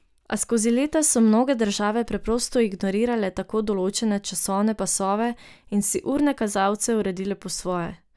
A skozi leta so mnoge države preprosto ignorirale tako določene časovne pasove in si urne kazalce uredile po svoje.